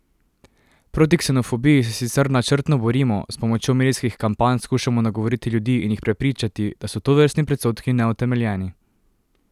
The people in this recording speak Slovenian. Proti ksenofobiji se sicer načrtno borimo, s pomočjo medijskih kampanj skušamo nagovoriti ljudi in jih prepričati, da so tovrstni predsodki neutemeljeni.